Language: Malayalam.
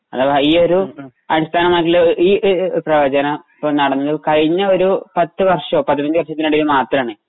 അഥവാ ഈ ഒരു അടിസ്ഥാനമാക്കിയിട്ടുള്ള ഈ ഈ ഈ ഒരു പ്രവചനം ഇപ്പൊ നടന്നു കഴിഞ്ഞയൊരു പത്തുവർഷമോ പതിനഞ്ചു വർഷതിനിടയിലോ മാത്രമാണ്.